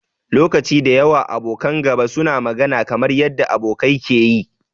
Lokaci da yawa, abokan gaba suna magana kamar yanda abokai ke yi.